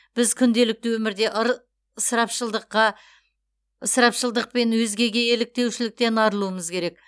біз күнделікті өмірде ыр ысырапшылдыққа ысырапшылдық пен өзгеге еліктеушіліктен арылуымыз керек